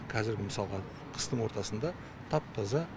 қазіргі мысалға қыстың ортасында тап таза